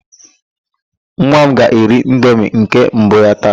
Nwa m ga-eri indomi nke mbụ ya taa.